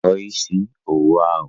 Tọọ isi owu ahụ!